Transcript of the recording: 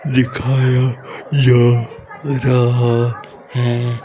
दिखाया जा रहा है।